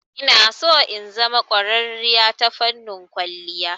Inaso in zama ƙwararriya ta fannin kwalliya.